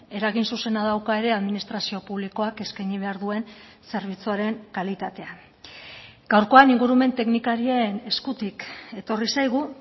eragin zuzena dauka ere administrazio publikoak eskaini behar duen zerbitzuaren kalitatean gaurkoan ingurumen teknikarien eskutik etorri zaigu